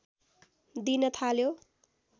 दिन थाल्यो